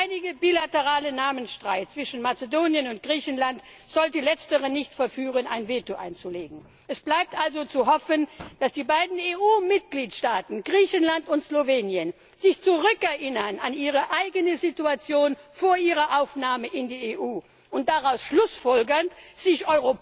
Der leidige bilaterale Namensstreit zwischen Mazedonien und Griechenland sollte Letzteres nicht verführen, ein Veto einzulegen. Es bleibt also zu hoffen, dass die beiden EU Mitgliedstaaten Griechenland und Slowenien sich an ihre eigene Situation vor ihrer Aufnahme in die EU erinnern und daraus schlussfolgern, sich